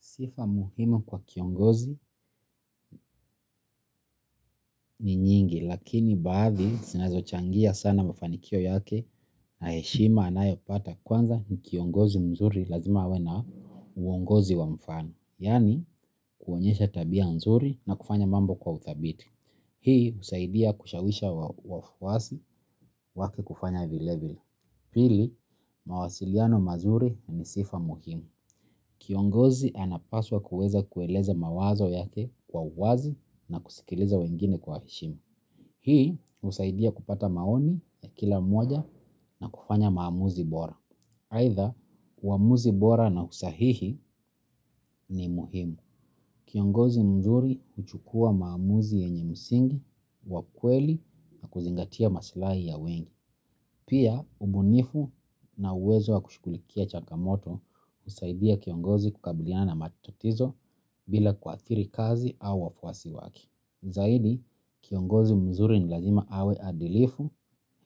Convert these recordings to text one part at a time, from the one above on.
Sifa muhimu kwa kiongozi ni nyingi lakini bathi sinazo changia sana mafanikio yake na heshima anayo pata kwanza ni kiongozi mzuri lazima awe na uongozi wa mfano. Yani kuonyesha tabia mzuri na kufanya mambo kwa utabiti. Hii usaidia kushawisha wafuwasi wake kufanya vilevili. Pili, mawasiliano mazuri ni sifa muhimu. Kiongozi anapaswa kueza kueleza mawazo yake kwa uwazi na kusikiliza wengine kwa eshima. Hii usaidia kupata maoni ya kila moja na kufanya maamuzi bora. Haitha, uamuzi bora na usahihi ni muhimu. Kiongozi mzuri huchukua maamuzi yenye msingi wa kweli na kuzingatia maslahi ya wengi. Pia, ubunifu na uwezo wa kushukulikia chaka moto usaidia kiongozi kukabiliana matatizo bila kwa atiri kazi au wafwasi waki. Zaidi, kiongozi mzuri ni lazima awe adilifu,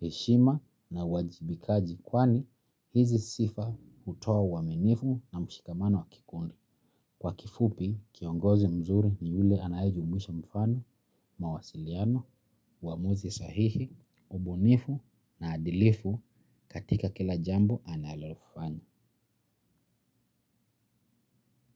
heshima na wajibikaji kwani hizi sifa utoa wamenifu na mshikamano wa kikundi. Kwa kifupi, kiongozi mzuri ni ule anaejumuisha mfano, mawasiliano, wamuzi sahihi, ubunifu na adilifu katika kila jambo analofanya.